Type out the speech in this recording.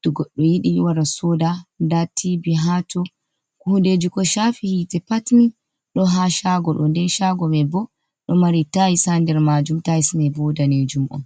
to goɗɗo yiɗi wara soda, nda tibi ha to hundeji ko shafi hitte pat mi do ha shago ɗo, nden chago mai bo ɗo mari tails ha nder majum tilse me bo ɗanejum on.